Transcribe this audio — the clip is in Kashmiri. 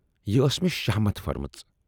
یہِ ٲس میے شاہمت پھٔرمٕژ۔